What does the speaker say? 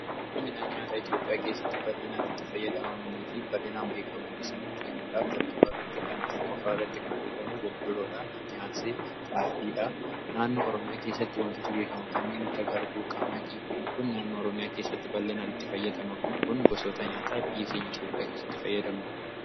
Midhaan nyaataa Itoophiyaa keessa heedduutu jiru. Isaan keessaa muraasni boqqoolloo, xaafii, qamadii fi kanneen kana fakkaatan biyya keenya keessa ballinaan argamu.